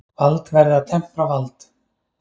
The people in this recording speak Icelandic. Vald verði að tempra vald.